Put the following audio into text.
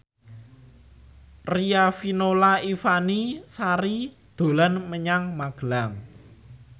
Riafinola Ifani Sari dolan menyang Magelang